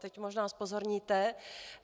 Teď možná zpozorníte.